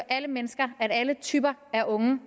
alle mennesker alle typer af unge